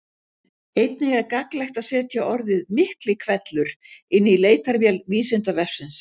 Einnig er gagnlegt að setja orðið Miklihvellur inn í leitarvél Vísindavefsins.